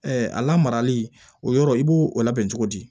a lamarali o yɔrɔ i b'o o labɛn cogo di